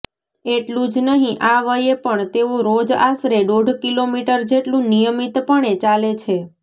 એટલું જ નહિ આ વયે પણ તેઓ રોજ આશરે દોઢ કિલોમીટર જેટલું નિયમિતપણે ચાલે છે